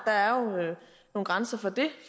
at grænser for det